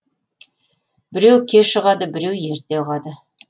біреу кеш ұғады біреу ерте ұғады